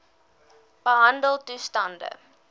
behandeltoestande